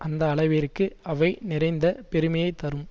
அந்த அளவிற்கு அவை நிறைந்த பெருமையை தரும்